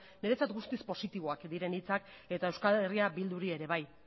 niretzat guztiz positiboak diren hitzak eta euskal herria bilduri ere bai